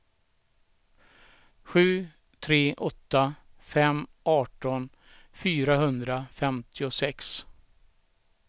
sju tre åtta fem arton fyrahundrafemtiosex